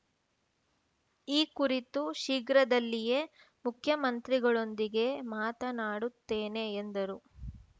ಈ ಕುರಿತು ಶೀಘ್ರದಲ್ಲಿಯೇ ಮುಖ್ಯಮಂತ್ರಿಗಳೊಂದಿಗೆ ಮಾತನಾಡುತ್ತೇನೆ ಎಂದರು